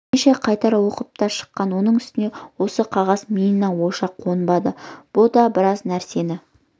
бірнеше қайтара оқып та шыққан оның үстіне осы қағаз миына ойша қонбады бұ да біраз нәрсені